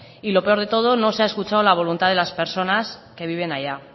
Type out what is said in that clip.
y lo peor de todo no se ha escuchado la voluntad de las personas que viven allá